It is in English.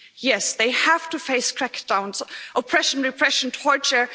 Yes, they have to face crackdowns, oppression, repression, torture.